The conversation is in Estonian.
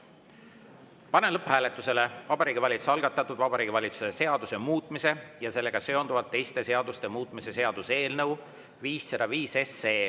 Panen lõpphääletusele Vabariigi Valitsuse algatatud Vabariigi Valitsuse seaduse muutmise ja sellega seonduvalt teiste seaduste muutmise seaduse eelnõu 505.